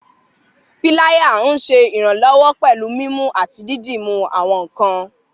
Píláyà nṣé iranlọwọ pẹ̀lú mímú àti dídúmú àwọn nkàn.